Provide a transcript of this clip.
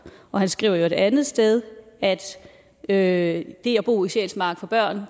og han skriver i øvrigt et andet sted at at det at bo i sjælsmark for børn